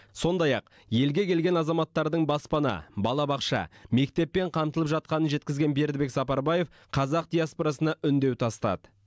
сондай ақ елге келген азаматтардың баспана балабақша мектеппен қамтылып жатқанын жеткізген бердібек сапарбаев қазақ диаспорасына үндеу тастады